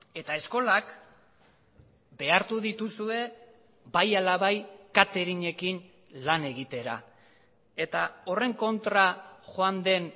eta eskolak behartu dituzue bai ala bai kateringekin lan egitera eta horren kontra joan den